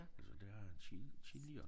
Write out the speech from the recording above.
Altså det har han tid tidligere